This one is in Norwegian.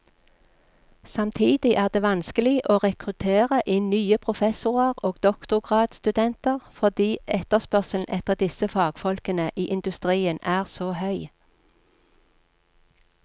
Samtidig er det vanskelig å rekruttere inn nye professorer og doktorgradsstudenter fordi etterspørselen etter disse fagfolkene i industrien er så høy.